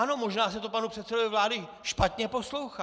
Ano, možná se to panu předsedovi vlády špatně poslouchá.